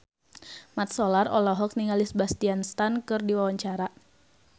Mat Solar olohok ningali Sebastian Stan keur diwawancara